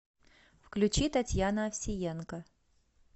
включи татьяна овсиенко